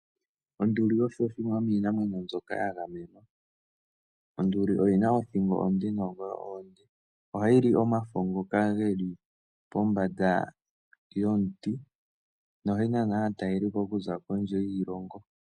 Onduli osho shimwe shomiinamwenyo mbyoka yagamenwa. Onduli oyina othingo onde noongolo oonde ohayi li omafo ngoka geli pombanda yomuti no ohayi nana aatalelipo okuza kondje yiilongo.